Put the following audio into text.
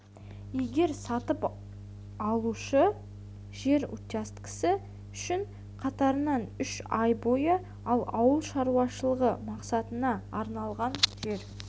егер сатып алушы жер учаскесі үшін қатарынан үш ай бойы ал ауыл шаруашылығы мақсатына арналған жер